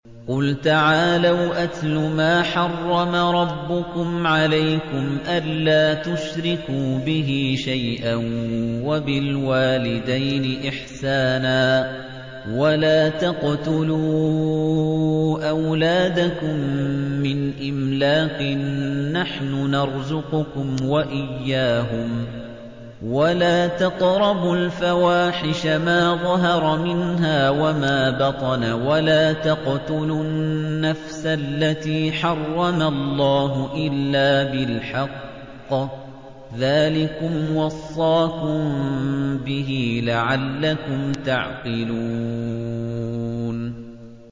۞ قُلْ تَعَالَوْا أَتْلُ مَا حَرَّمَ رَبُّكُمْ عَلَيْكُمْ ۖ أَلَّا تُشْرِكُوا بِهِ شَيْئًا ۖ وَبِالْوَالِدَيْنِ إِحْسَانًا ۖ وَلَا تَقْتُلُوا أَوْلَادَكُم مِّنْ إِمْلَاقٍ ۖ نَّحْنُ نَرْزُقُكُمْ وَإِيَّاهُمْ ۖ وَلَا تَقْرَبُوا الْفَوَاحِشَ مَا ظَهَرَ مِنْهَا وَمَا بَطَنَ ۖ وَلَا تَقْتُلُوا النَّفْسَ الَّتِي حَرَّمَ اللَّهُ إِلَّا بِالْحَقِّ ۚ ذَٰلِكُمْ وَصَّاكُم بِهِ لَعَلَّكُمْ تَعْقِلُونَ